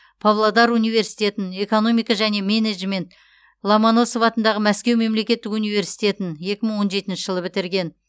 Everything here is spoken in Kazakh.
павлодар университетін экономика және менеджмент ломоносов атындағы мәскеу мемлекеттік университетін екі мың он жетінші жылы бітірген